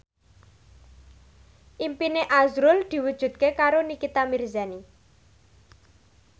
impine azrul diwujudke karo Nikita Mirzani